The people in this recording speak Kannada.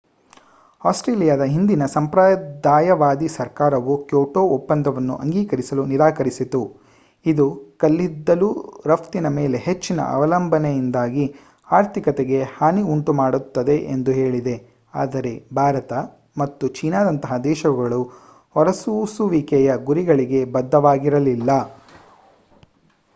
ಆಸ್ಟ್ರೇಲಿಯಾದ ಹಿಂದಿನ ಸಂಪ್ರದಾಯವಾದಿ ಸರ್ಕಾರವು ಕ್ಯೋಟೋ ಒಪ್ಪಂದವನ್ನು ಅಂಗೀಕರಿಸಲು ನಿರಾಕರಿಸಿತು ಇದು ಕಲ್ಲಿದ್ದಲು ರಫ್ತಿನ ಮೇಲೆ ಹೆಚ್ಚಿನ ಅವಲಂಬನೆಯಿಂದಾಗಿ ಆರ್ಥಿಕತೆಗೆ ಹಾನಿ ಮಾಡುತ್ತದೆ ಎಂದು ಹೇಳಿದೆ ಆದರೆ ಭಾರತ ಮತ್ತು ಚೀನಾದಂತಹ ದೇಶಗಳು ಹೊರಸೂಸುವಿಕೆಯ ಗುರಿಗಳಿಗೆ ಬದ್ಧವಾಗಿರಲಿಲ್ಲ